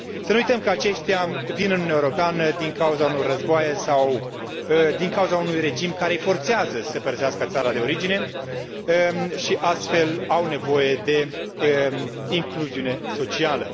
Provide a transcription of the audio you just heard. Să nu uităm că aceștia vin în Uniunea Europeană din cauza unor războaie sau din cauza unui regim care îi forțează să părăsească țara de origine și, astfel, au nevoie de incluziune socială.